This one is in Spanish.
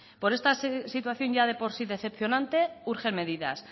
por esta situación ya de por sí decepcionante urgen medidas